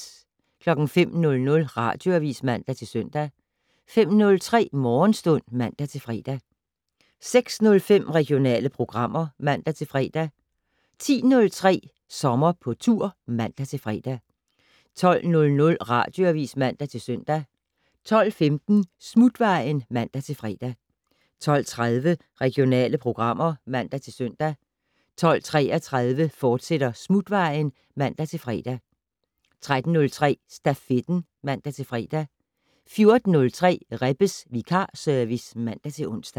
05:00: Radioavis (man-søn) 05:03: Morgenstund (man-fre) 06:05: Regionale programmer (man-fre) 10:03: Sommer på tur (man-fre) 12:00: Radioavis (man-søn) 12:15: Smutvejen (man-fre) 12:30: Regionale programmer (man-søn) 12:33: Smutvejen, fortsat (man-fre) 13:03: Stafetten (man-fre) 14:03: Rebbes vikarservice (man-ons)